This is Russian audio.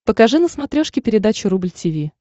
покажи на смотрешке передачу рубль ти ви